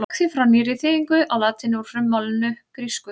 Hann gekk því frá nýrri þýðingu á latínu úr frummálinu grísku.